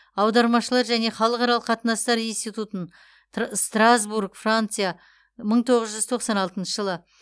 аудармашылар және халықаралық қатынастар институтын тра страсбург франция мың тоғыз жүз тоқсан алтыншы жылы